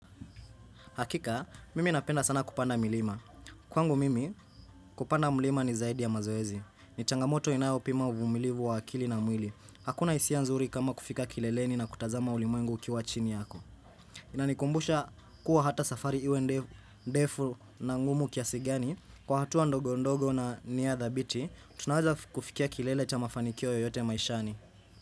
Hakika, mimi napenda sana kupanda milima. Kwangu mimi, kupanda milima ni zaidi ya mazoezi. Ni changamoto inayopima uvumilivu wa akili na mwili. Hakuna hisia nzuri kama kufika kileleni na kutazama ulimwengu ukiwa chini yako. Inanikumbusha kuwa hata safari iwe ndefu na ngumu kiasi gani. Kwa hatua ndogo ndogo na nia thabiti, tunawaza kufikia kilele cha mafanikio yoyote maishani.